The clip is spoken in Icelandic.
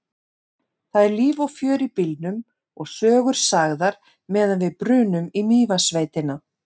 Það er líf og fjör í bílnum og sögur sagðar meðan við brunum í Mývatnssveitina.